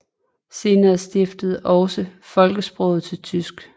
Senere skiftede også folkesproget til tysk